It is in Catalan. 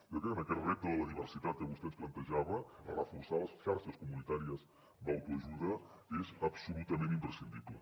jo crec que en aquest repte de la diversitat que vostè ens plantejava reforçar les xarxes comunitàries d’autoajuda és absolutament imprescindible